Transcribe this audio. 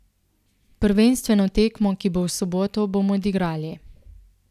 Prvenstveno tekmo, ki bo v soboto, bomo odigrali.